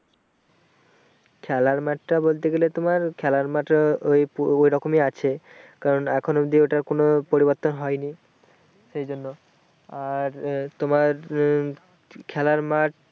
খেলার মাঠটা বলতে গেলে তোমার খেলার মঠের ওই ঐরকমই আছে কারণ এখনো অব্দি ওটার কোনো পরিবর্তন হয়নি সেইজন্য আর আহ তোমার উম খেলার মাঠ